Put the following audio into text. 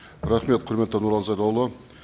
рахмет құрметті нұрлан зайроллаұлы